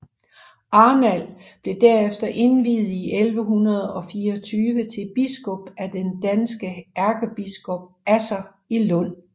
Arnald blev derefter indviet i 1124 til biskop af den danske ærkebiskop Asser i Lund